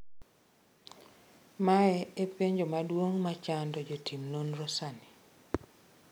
Mae e penjo maduong’ ma chando jotim nonro sani.